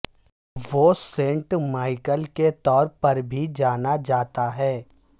وہ saint Michael کے طور پر بھی جانا جاتا ہے